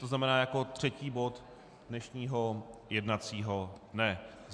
To znamená jako třetí bod dnešního jednacího dne.